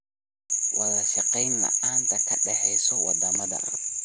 Wadashaqeyn la'aanta ka dhaxaysa wadamada.